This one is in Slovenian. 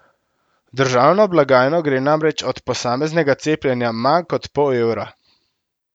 V državno blagajno gre namreč od posameznega cepljenja manj kot pol evra.